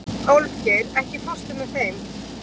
Álfgeir, ekki fórstu með þeim?